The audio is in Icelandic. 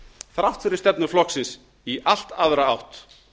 þrátt fyrir stefnu flokksins í allt aðra átt